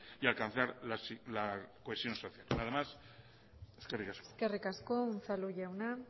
y alcanzar la cohesión social nada más eskerrik asko eskerrik asko unzalu jauna